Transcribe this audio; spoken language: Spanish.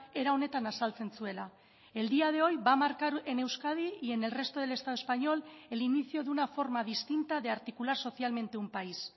era honetan azaltzen zuela el día de hoy va a marcar en euskadi y en el resto del estado español el inicio de una forma distinta de articular socialmente un país